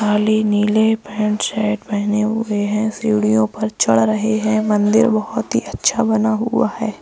काली नीले pant shirt पहने हुए हैं सीढ़ियों पर चढ़ रहे हैं मंदिर बहोत ही अच्छा बना हुआ है।